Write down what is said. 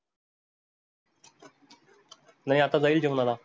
नाही आता जाईल जेवणाला.